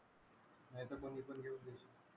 नाहीतर मग